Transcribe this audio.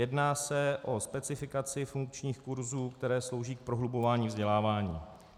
Jedná se o specifikaci funkčních kurzů, které slouží k prohlubování vzdělávání.